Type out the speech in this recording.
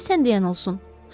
Qoy sən deyən olsun.